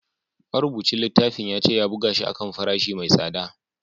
Marubucin littafin ya ce ya buga shi a kan farashi mai tsada